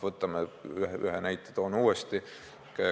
Toon ühe näite uuesti.